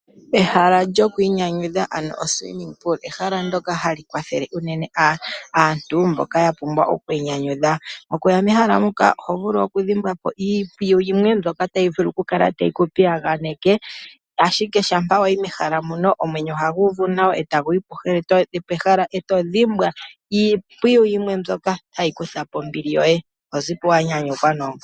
Ehala lyoku inyanyudha ano okandama kokuyoga. Ehala ndoka hali kwathele uunene aantu mboka ya pumbwa okwi inyanyudha. Okuya mehala muka oho vulu okudhimbwa po iimpwiyu yimwe mbyoka tayi vulu kukala tayiku piyaganeke, ashike shampa wayi mehala muno omwenyo ohagu uvu nawa etagu yi pehala eto dhimbwa iimpwiyu yimwe mbyoka tayi kutha po ombili yoye tozipo wanyanyukwa noonkondo.